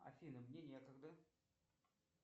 афина мне некогда